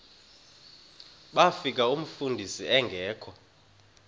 bafika umfundisi engekho